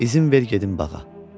İzin ver gedim bağa.